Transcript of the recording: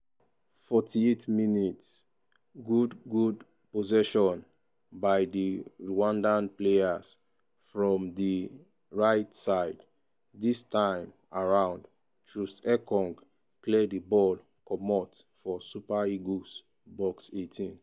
48mins- good good possession by di rwandan players from di rigjht side dis time around troost-ekong clear di ball comot for super eagles box 18.